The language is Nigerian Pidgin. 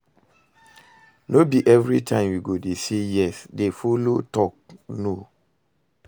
No be evritime yu go dey say yes, dey follow tok no